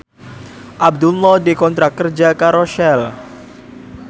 Abdullah dikontrak kerja karo Shell